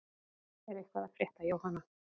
Er eitthvað að frétta Jóhanna?